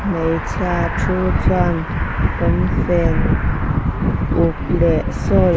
hmeichhia thu chuan pawnfen uk leh sawl --